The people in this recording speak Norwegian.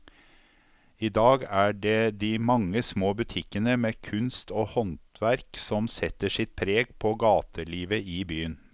I dag er det de mange små butikkene med kunst og håndverk som setter sitt preg på gatelivet i byen.